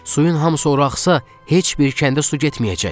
Suyun hamısı ora axsa, heç bir kəndə su getməyəcək.